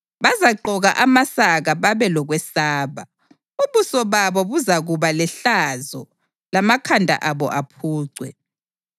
Bazagqoka amasaka babe lokwesaba. Ubuso babo buzakuba lehlazo lamakhanda abo aphucwe.